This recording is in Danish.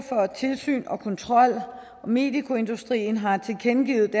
tilsyn og kontrol og medicoindustrien har tilkendegivet